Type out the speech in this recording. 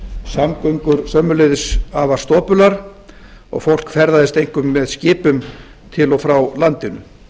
samgöngur sömuleiðis afar stopular og fólk ferðaðist einkum með skipum til og frá landinu